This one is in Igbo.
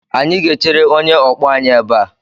Anyị ga-echere onye ọkpọ anyị ebe a.